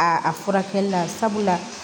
A furakɛli la sabula